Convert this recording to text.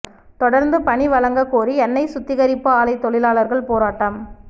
தொடர்ந்து பணி வழங்க கோரி எண்ணெய் சுத்திகரிப்பு ஆலை தொழிலாளர்கள் போராட்டம்